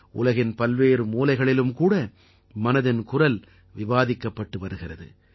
உலகின் பல்வேறு மூலைகளிலும் கூட மனதின்குரல் விவாதிக்கப்பட்டு வருகிறது